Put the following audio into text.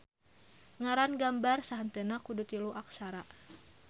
Ngaran gambar sahenteuna kudu tilu aksara.